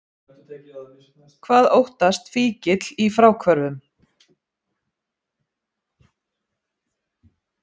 Hvað óttast fíkill í fráhvörfum?